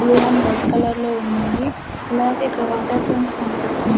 Blue and white colour లో ఉన్నాయి అలాగే ఇక్కడ వాటర్ డ్రమ్స్ కనిపిస్తున్నా.